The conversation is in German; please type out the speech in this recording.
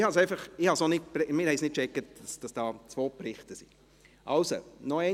Wir kommen zur Abstimmung über diese Motion, «Breitensport unterstützen: